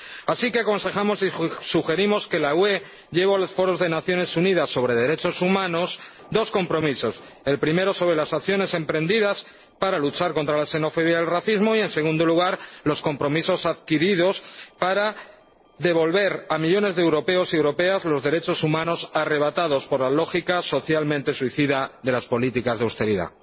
Así que aconsejamos y sugerimos que la UE lleve a los foros de Naciones Unidas sobre derechos humanos dos compromisos el primero sobre las acciones emprendidas para luchar contra la xenofobia y el racismo y, en segundo lugar, los compromisos adquiridos para devolver a millones de europeos y europeas los derechos humanos arrebatados por la lógica socialmente suicida de las políticas de austeridad.